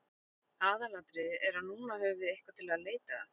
Aðalatriðið er að núna höfum við eitthvað til að leita að.